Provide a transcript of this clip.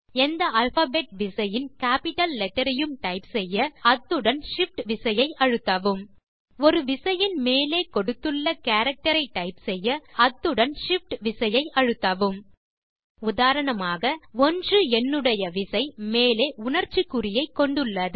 எந்த அல்பாபெட் விசையின் capital letter ஐயும் டைப் செய்ய அத்துடன் shift விசையை அழுத்தவும் ஒரு விசையின் மேலே கொடுத்துள்ள கேரக்டர் ஐ டைப் செய்ய அந்த விசையுடன் shift விசை அழுத்தவும் உதாரணமாக 1 எண்ணுடைய விசை மேலே உணர்ச்சி குறியை கொண்டுள்ளது